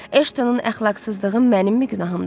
Ashtonun əxlaqsızlığı mənimmi günahımdır?